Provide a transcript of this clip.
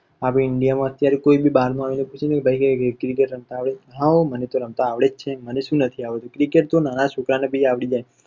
અત્યાર india માં કોઈ બારનું આવીને પૂછે કે પણ પૂછો કે cricket રમત આવડે છે તો કહશે કે હા મને તો રમત આવડે જ છે માંને સુ નથી આવડતું cricket તો નાના છોકરાં ને પણ આવડી જાય